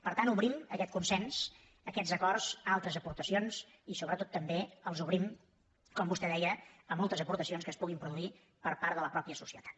per tant obrim aquest consens aquests acords a altres aportacions i sobretot també els obrim com vostè deia a moltes aportacions que es puguin produir per part de la mateixa societat